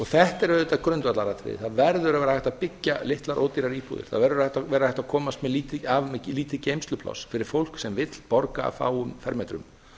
þetta er auðvitað grundvallaratriði það verður að vera hægt að byggja litlar ódýrar íbúðir það verður að vera hægt að komast af með lítið geymslupláss fyrir fólk sem vill borga af fáum fermetrum